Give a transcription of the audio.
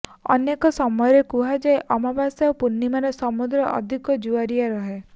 ଅନେକ ସମୟରେ କୁହାଯାଏ ଅମାବାସ୍ୟା ଓ ପୂର୍ଣ୍ଣିମାରେ ସମୁଦ୍ର ଅଧିକ ଜୁଆରିଆ ରହେ